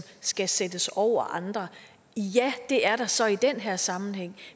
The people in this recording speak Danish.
skal sættes over andre ja det er der så i den her sammenhæng